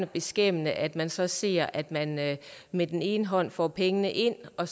beskæmmende at man så ser at man med med den ene hånd får pengene ind og